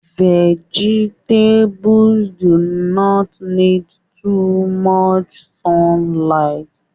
Vegetables do not need too much sunligt